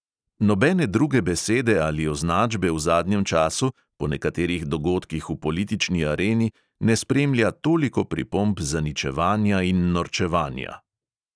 Nobene druge besede ali označbe v zadnjem času, po nekaterih dogodkih v politični areni, ne spremlja toliko pripomb zaničevanja in norčevanja.